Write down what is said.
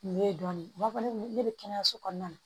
Nin ye dɔɔnin n b'a fɔ ne bɛ kɛnɛyaso kɔnɔna na